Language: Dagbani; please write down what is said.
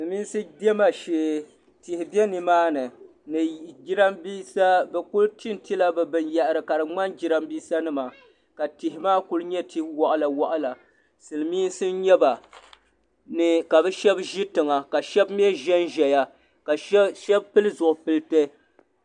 Silimiinsi diɛma shee tihi be nimaani ni jirambisa bɛ kuli tinti bɛ binyahari ka di ŋmani jirambisa nima ka tihi maa kuli nyɛ ti'waɣala waɣala silimiinsi n nyɛba ka bɛ sheba ʒi tiŋa ka sheba mee ʒɛnʒɛya ka sheba pili zipilti.